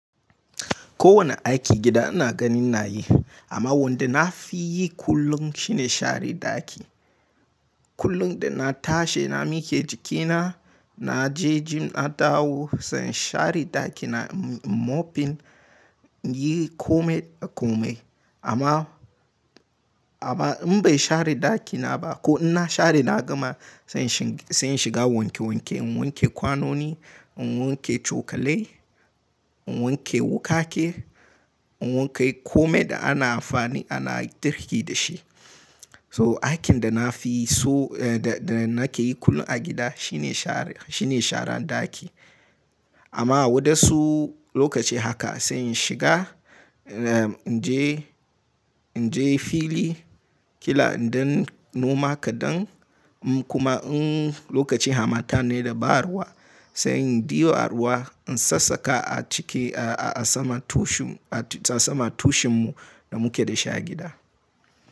Ko wani aikin gida ina gani inayi, amma wanda na fi yi kullum shine share ɗaki. Kullum da na tashi na mike jikina, na je gym na dawo sai in share ɗaki na mopping, in yi komai da komai amma amma in ban share ɗakina ba ko in na share na gama sai in sai in shiga wanke wanke. In wanke kwanoni, in wanke cokalai, in wanke wukake, in wanke komai da ana amfani ana girki da shi. So aikin da na fi so, da nake yi kullum a gida shine shara, shine sharan ɗaki. Amma wasu lokaci haka sai in shiga, inje inje fili kila in danyi noma kaɗan kuma in lokaci hamata ne da ba ruwa sai in dibo a ruwa in sassaka a ciki a saman tushin a saman tushin mu da muke da shi a gida.